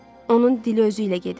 Onun dili özü ilə gedib.